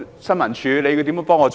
新聞處如何協助？